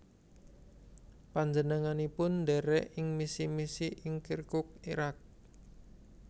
Panjenenganipun ndherek ing misi misi ing Kirkuk Irak